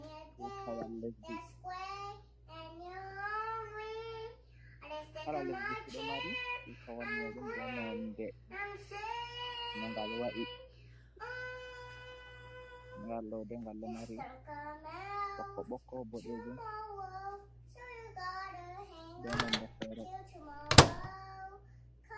Tuutawal lesdi, kala lesdi fu ɗo mari Tuutawal muuɗum bee nonnde no ngal wa’i, ngal ɗo dey ngal ɗo mari bokko-bokko, boɗeejum bee nonnde feere.